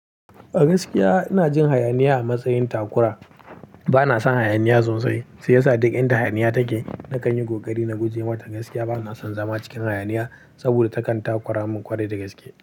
A gaskiya ina jin hayaniya a matsayin takura. Bana son hayaniya sosai, sai ya sa duk inda hayaniya take, na kan yi kokari na guje mata gaskiya. Bana son zama cikin hayaniya saboda takanta kora mun kwarai dagaske.